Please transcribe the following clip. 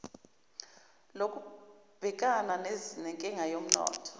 lokubhekana nenkinga yomnotho